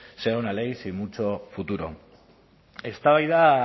será una ley sin mucho futuro eztabaida